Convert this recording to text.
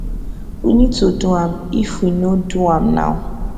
we need to do am if we no do am now